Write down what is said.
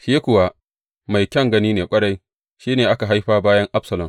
Shi kuwa mai kyan gani ne ƙwarai, shi ne aka haifa bayan Absalom.